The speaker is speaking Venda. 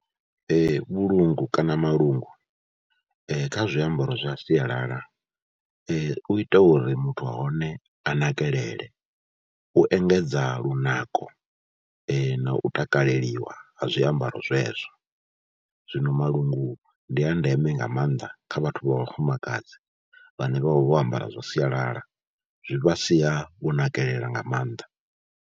Vhulungu kana malungu kha zwiambaro zwa sialala u ita uri muthu wa hone a nakelele, u engedza lunako na u takaleliwa ha zwiambaro zwezwo. Zwino malungu ndi a ndeme nga maanḓa kha vhathu vha vhafumakadzi vhane vha vha vho ambara zwa sialala, zwi vha sia vho nakelela nga maanḓa.